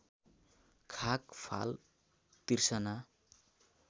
खाँक फाल तिर्सना